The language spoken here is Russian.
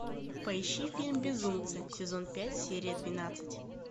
поищи фильм безумцы сезон пять серия двенадцать